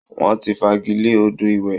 Wọ́n ti fagilé odò ìwẹ̀